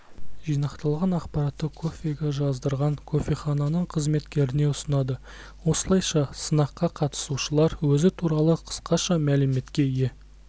жинақталған ақпаратты кофеге жаздырған кофехананың қызметкеріне ұсынады осылайша сынаққа қатысушылар өзі туралы қысқаша мәліметке ие